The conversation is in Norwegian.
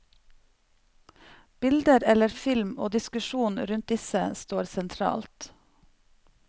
Bilder eller film og diskusjon rundt disse står sentralt.